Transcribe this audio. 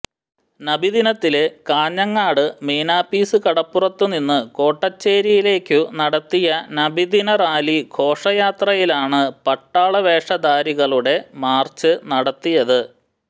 നബിദിനത്തില് കാഞ്ഞങ്ങാട് മീനാപ്പീസ് കടപ്പുറത്തുനിന്നു കോട്ടച്ചേരിയിലേക്കു നടത്തിയ നബിദിനറാലി ഘോഷയാത്രയിലാണ് പട്ടാള വേഷധാരികളുടെ മാര്ച്ച് നടത്തിയത്